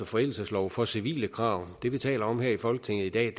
forældelseslov for civile krav det vi taler om her i folketinget i dag